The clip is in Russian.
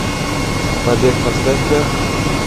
побег поставь ка